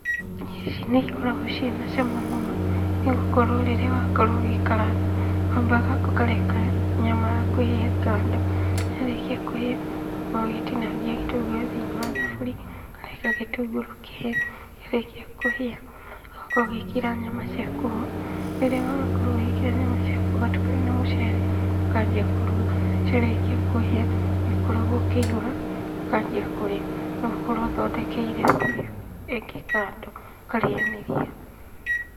Irio ici nĩ ikoragwo ciĩna cama mũno, nĩ gũkorwo rĩrĩa wakorwo ũgĩkaranga wambaga ũkareka nyama yaku ĩhĩe kando, yarĩkia kũhĩa, ũgakorwo ũgĩtinangia gĩtũngũrũ thĩinĩ wa thaburia, ũkareka gĩtũngũrũ kĩhĩe, kĩarĩkia kũhĩa ũgakorwo ũgĩĩkĩra nyama ciaku ho, rĩrĩa wakorwo ũgĩĩkĩra nyama ciaku ũgatukania na mũcere ũkanjia kũruga, ciarĩkia kũhĩa, nĩũkoragwo ũkĩihũra ukanjia kũrĩa, no ũkorwo ũthondekeire stew ĩngĩ kando ũkarĩanĩria.